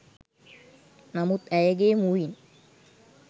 නමුත් ඇයගේ මුවින්